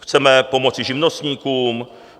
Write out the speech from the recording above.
Chceme pomoci živnostníkům.